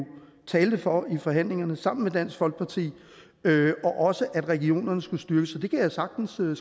talte for i forhandlingerne sammen med dansk folkeparti og også at regionerne skulle styrkes så det kan jeg sagtens skrive